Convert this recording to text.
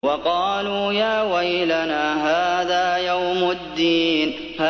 وَقَالُوا يَا وَيْلَنَا هَٰذَا يَوْمُ الدِّينِ